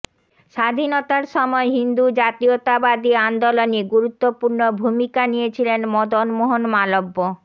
স্বাধীনতার সময় হিন্দু জাতীয়তাবাদী আন্দোলনে গুরুত্বপূর্ণ ভূমিকা নিয়েছিলেন মদন মোহন মালব্য